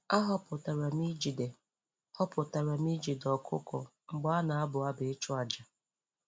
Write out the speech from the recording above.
A họpụtara m ijide họpụtara m ijide ọkụkọ mgbe a na-abụ abụ ịchụ àjà.